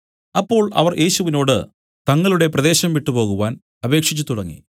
അപ്പോൾ അവർ യേശുവിനോടു തങ്ങളുടെ പ്രദേശം വിട്ടുപോകുവാൻ അപേക്ഷിച്ചുതുടങ്ങി